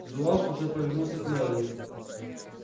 зуав уже повернулся к мелани